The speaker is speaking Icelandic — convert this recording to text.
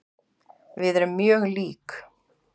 Við erum mjög lík.